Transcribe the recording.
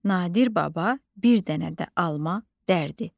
Nadir baba bir dənə də alma dərdi.